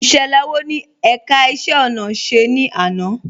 Ìṣẹlẹ wọ́ ni ẹ̀ká ìṣẹ̀ ọ̀nà ṣẹ̀ ni àná?